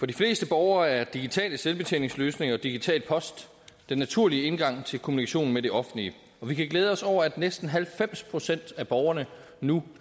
de fleste borgere er digitale selvbetjeningsløsninger og digital post den naturlige indgang til kommunikationen med det offentlige og vi kan glæde os over at næsten halvfems procent af borgerne nu